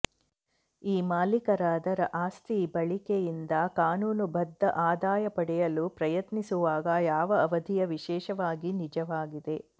ಈ ಮಾಲೀಕರ ಅದರ ಆಸ್ತಿ ಬಳಕೆಯಿಂದ ಕಾನೂನುಬದ್ಧ ಆದಾಯ ಪಡೆಯಲು ಪ್ರಯತ್ನಿಸುವಾಗ ಯಾವ ಅವಧಿಯ ವಿಶೇಷವಾಗಿ ನಿಜವಾಗಿದೆ